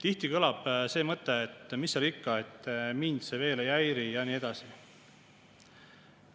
Tihti kõlab see mõte, et mis seal ikka, mind see veel ei häiri ja nii edasi.